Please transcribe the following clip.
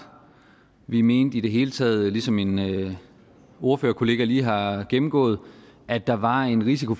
vi mente i det hele taget ligesom min ordførerkollega lige har gennemgået at der var en risiko